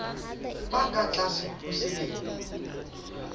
ba ka tlase ho selemo